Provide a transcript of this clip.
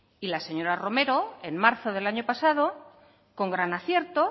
y la señora romero en marzo del año pasado con gran acierto